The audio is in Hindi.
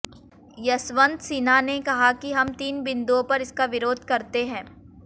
यशवंत सिन्हा ने कहा कि हम तीन बिंदुओं पर इसका विरोध करते हैं